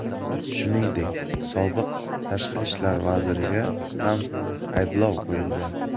Shuningdek, sobiq tashqi ishlar vaziriga ham ayblov qo‘yilgan.